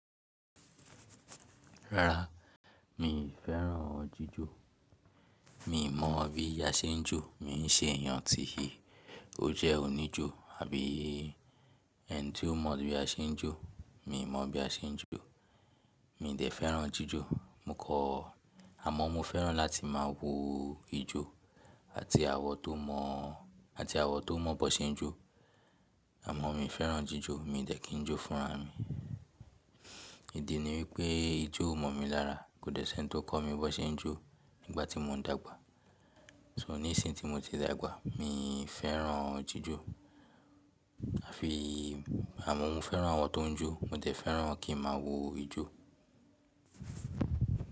Rárá, mi ì fẹ́ràn ojíjò. Mi mọ bí a se jó. Mi n ṣe eeyàn ti o. O jẹ́ òníjò àbí eni tí o mọ bí a se jó. Mi mọ bí a se jó. Mi dẹ̀ fẹ́ràn jíjó. Mo kọ̀. Àmọ́ mo fẹ́ràn láti máa wo ijó àti àwọn tó mọ̀, àti àwọn tó mọ̀ bi won se jó. Àmọ́ mi fẹ́ràn jíjó. Mi dẹ̀ kí n jó fúnra mi. Ìdí ni wípé ijó mọ̀ mi lára. Kò dẹ̀ ṣe ẹni tó kọ̀ mi bi won se jó nígbàtí mo n dàgbà. So nísin tí mo ti dàgbà, mi fẹ́ràn ojíjò àfi àmọ́ mo fẹ́ràn àwọn tó n jó. Mo dẹ̀ fẹ́ràn kí n máa wo ijó.